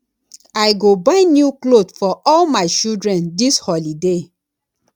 i go buy new clot for all my children dis holiday